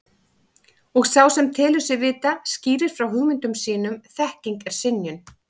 Og sá sem telur sig vita skýrir frá hugmyndum sínum þekking er skynjun.